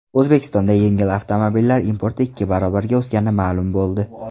O‘zbekistonda yengil avtomobillar importi ikki barobarga o‘sgani ma’lum bo‘ldi .